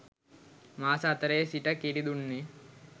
මාස හතරේ සිට කිරි දුන්නේ